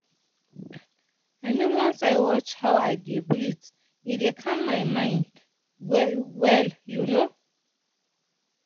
i mean once i watch how i dey breathe e dey calm my mind well you know.